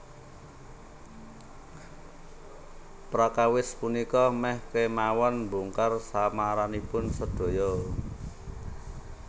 Prakawis punika mèh kémawon mbongkar samaranipun sedaya